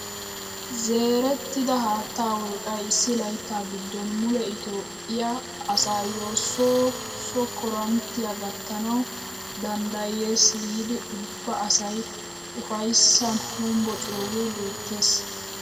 Zerettida haattaa wolqqay issi layttaa giddon mule itoophphiyaa asayoo soo so korinttiyaa gattanawu danddayes giidi ubba asay upaysan honbbociyoogee beettees!